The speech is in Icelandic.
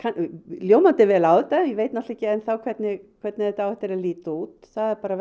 ljómandi vel á þetta ég veit ekki enn þá hvernig hvernig þetta á eftir að líta út það er bara